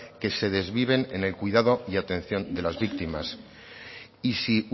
que se desviven en el cuidado y atención de las víctimas y si